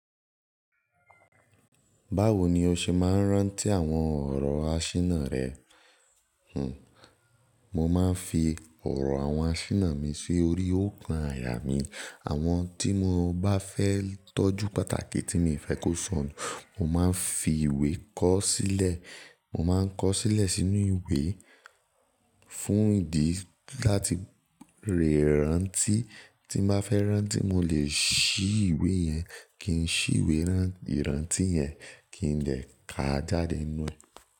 Báwo ni o ṣe máa ń rántí àwọn ọ̀rọ̀ àsínà rẹ? Hhm, mo máa ń fi ọ̀rọ̀ àwọn àsínà mi sórí òòkan àyà mí. Àwọn tí mo bá fẹ́ tọ́jú pàtàkì tí mi fẹ́ kó sọnù, mo máa ń fi ìwé kọ sílẹ̀. Mo máa ń kọ sílẹ̀ sínú ìwé fún ìdí láti lè rántí. Tí mo bá fẹ́ rántí, mo lè ṣí ìwé yẹn, kí n ṣí ìwé rántí yẹn, kí n lè ká jáde nínú rẹ̀